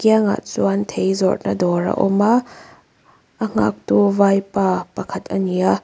angah chuan thei zawrhna dawr a awma a nghaktu vaipa pakhat ani a.